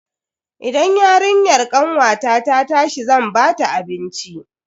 Idan yarinyar kanwata ta tashi zan bata abinci.